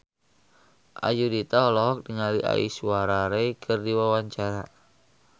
Ayudhita olohok ningali Aishwarya Rai keur diwawancara